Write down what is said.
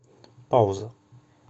пауза